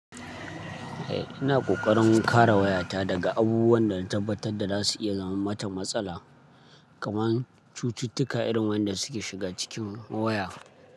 Eh ina ƙoƙarin kare wayata daga abubuwan da na tabbatar da za su iya zama mata matsala, kamar cututtuka irin waɗanda suke shiga cikin waya.